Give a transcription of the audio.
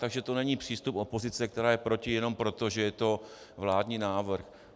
Takže to není přístup opozice, která je proti jenom proto, že je to vládní návrh.